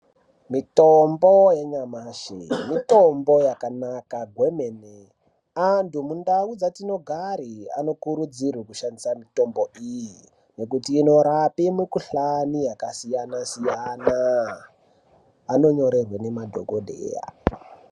Mitombo yanyamashi mitombo yakanaka kwemene. Antu mundau dzatinogare anokurudzirwe kushandisa mitombo iyi nekuti inorape mikuhlani yakasiyana siyana. Anonyorerwe nemadhokodheya.